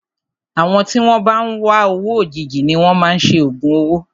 Àwọn tí wọn bá ń wá owó òjijì ni wọn máa ń ṣe ògùn owó.